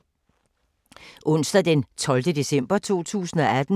Onsdag d. 12. december 2018